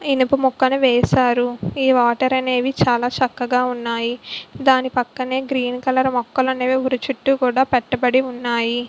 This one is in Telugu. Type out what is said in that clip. ఇనుప ముక్కను వేశారు. ఈ వాటర్ అనేది చాలా చక్కగా ఉన్నాయి. దాని పక్కనే గ్రీన్ కలర్ మొక్కలు అనేవి చుట్టూ కూడా పెట్టబడి ఉన్నాయి.